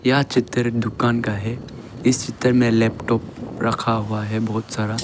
यह चित्र एक दुकान का है इस चित्र में लैपटॉप रखा हुआ है बहुत सारा।